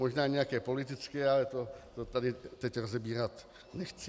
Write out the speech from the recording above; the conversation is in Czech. Možná nějaké politické, ale to tady teď rozebírat nechci.